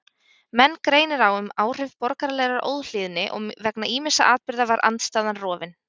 Menn greinir á um áhrif borgaralegrar óhlýðni og vegna ýmissa atburða var andstaðan rofin.